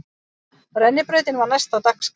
Rennibrautin var næst á dagskrá.